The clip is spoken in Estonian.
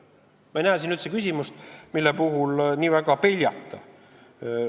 Ma ei näe siin üldse küsimust, mille puhul oleks vaja nii väga peljata.